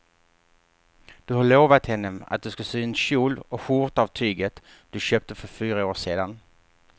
Du har lovat henne att du ska sy en kjol och skjorta av tyget du köpte för fyra år sedan.